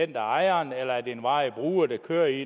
det er ejeren eller en varig bruger der kører i